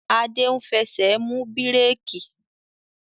Adé ń fẹsẹ̀ mú bíréékì